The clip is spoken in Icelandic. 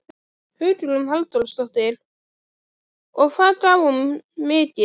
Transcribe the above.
Hugrún Halldórsdóttir: Og hvað gaf hún mikið?